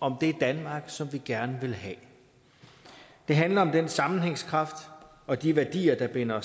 om det danmark som vi gerne vil have det handler om den sammenhængskraft og de værdier der binder